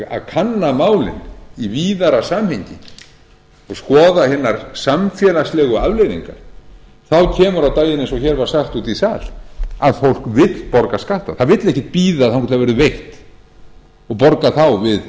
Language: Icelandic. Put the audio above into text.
kanna málin í víðara samhengi og skoða hinar samfélagslegu afleiðingar kemur á daginn eiga og hér var sagt úti í sal að fólk vill borga skatta það vill ekkert bíða þangað til það verður veikt og borga þá